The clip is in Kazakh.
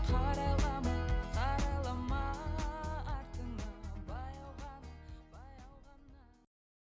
қарайлама қарайлама артыңа